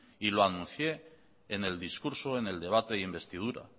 y lo anuncié en el discurso del debate de investidura